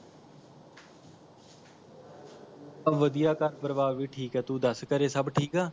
ਸਬ ਵਧੀਆ ਘਰ ਪਰਿਵਾਰ ਵੀ ਠੀਕ ਹੈ ਤੂੰ ਦੱਸ ਘਰੇ ਸਬ ਠੀਕ ਹਾਂ